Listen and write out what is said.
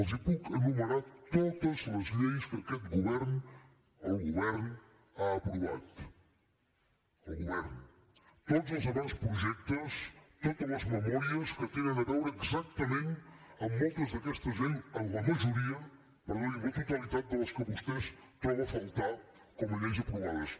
els puc enumerar totes les lleis que aquest govern el govern ha aprovat el govern tots els avantprojectes totes les memòries que tenen a veure exactament amb moltes d’aquestes lleis amb la majoria per no dir amb la totalitat de les que vostè troba a faltar com a lleis aprovades